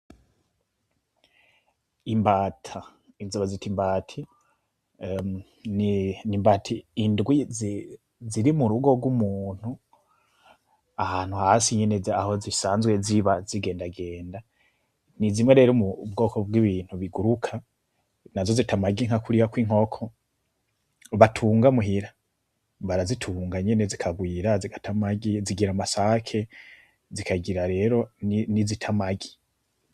Imbata inzoba zita imbati n imbati indwi ziri mu rugo rw'umuntu ahantu hasi inyeneze aho zisanzwe ziba zigendagenda ni zimwe reri mu bwoko bw'ibintu biguruka na zo zitamaginka kuriyako inkoko batungamuhira barazitunga nyene zikagwira zigatamagi zigira amasake zikagira rero n'izitamagi.